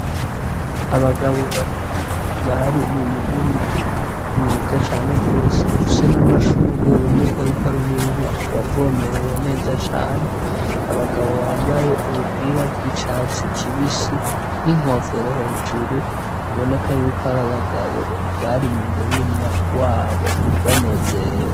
Abagabo babiri bari mumurima mwiza cane gose ufise namashugwe biboneka yuko ari umurima wavomerewe neza cane abagabo bampaye ubupira bwicatsi kibisi n'inkofero hejuru biboneka yuko ari abagabo bari mumurima wabo banezerewe